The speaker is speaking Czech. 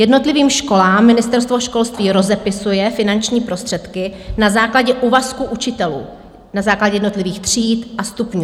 Jednotlivým školám Ministerstvo školství rozepisuje finanční prostředky na základě úvazku učitelů, na základě jednotlivých tříd a stupňů.